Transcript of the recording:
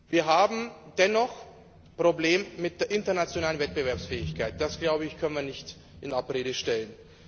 Wir haben dennoch Probleme mit der internationalen Wettbewerbsfähigkeit das kann man nicht in Abrede stellen.